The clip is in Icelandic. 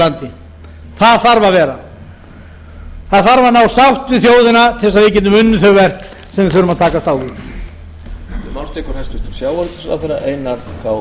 landi það þarf að vera það þarf að nást sátt við þjóðina til að við getum unnið þau verk sem við þurfum að takast á við